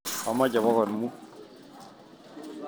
Amache pokol muut.